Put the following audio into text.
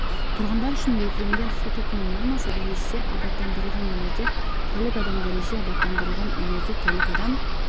тұрғындар үшін белгіленген су тұтыну нормасы дәрежеде абаттандырылған үйлерде тәулік адам дәрежеде абаттандырылған үйлерде тәулік адам